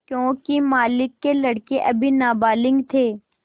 योंकि मालिक के लड़के अभी नाबालिग थे